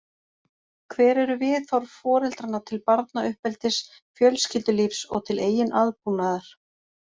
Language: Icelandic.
Hver eru viðhorf foreldranna til barnauppeldis, fjölskyldulífs og til eigin aðbúnaðar?